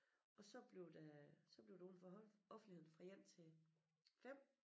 Og så bliver det så bliver det udenfor offentligheden fra 1 til 5